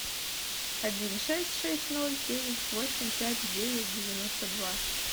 один шесть шесть ноль девять восемь пять девять девяносто два